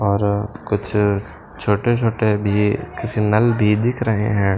और कुछ छोटे-छोटे भी किसी नल भी दिख रहे हैं।